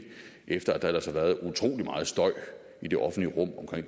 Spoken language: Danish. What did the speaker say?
efter at der ellers har været utrolig meget støj i det offentlige rum omkring